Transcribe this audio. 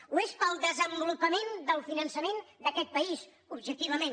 ho és pel desenvolupament del finançament d’aquest país objectivament